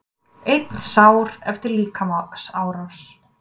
Einn sár eftir líkamsárás